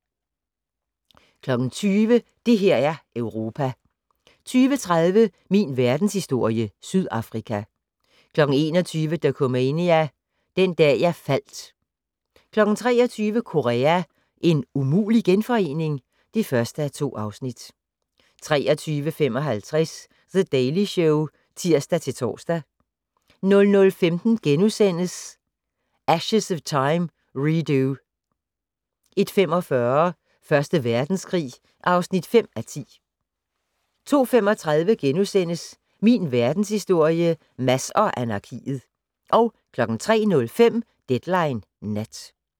20:00: Det her er Europa 20:30: Min Verdenshistorie - Sydafrika 21:00: Dokumania: Den dag jeg faldt 23:00: Korea - en umulig genforening? (1:2) 23:55: The Daily Show (tir-tor) 00:15: Ashes of Time - Redux * 01:45: Første Verdenskrig (5:10) 02:35: Min Verdenshistorie - Mads og anarkiet * 03:05: Deadline Nat